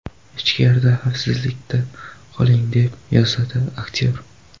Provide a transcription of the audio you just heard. Ichkarida, xavfsizlikda qoling”, deb yozadi aktyor.